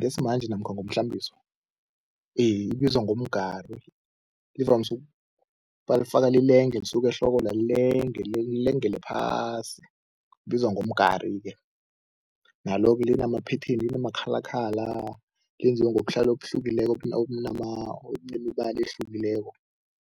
ngesimanje namkha ngomhlambiso, ibizwa ngomgari. Ivamise balifaka lilenge, lisuke ehlokwena lilenge, lilengele phasi, ibizwa ngomgari-ke. Nalo-ke lina-pattern linama-colour colour, lenziwe ngobuhlalu obuhlukileko obunemibala ehlekileko.